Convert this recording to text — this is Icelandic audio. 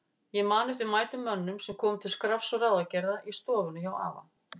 Ég man eftir mætum mönnum sem komu til skrafs og ráðagerða í stofuna hjá afa.